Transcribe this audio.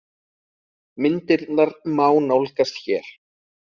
Myndirnar má nálgast hér